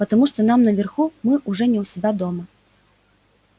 потому что нам наверху мы уже не у себя дома